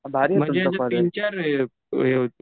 म्हणजे असं तीनचार हे होते